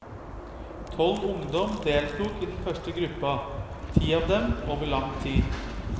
Tolv ungdom deltok i den første gruppa, ti av dem over lang tid.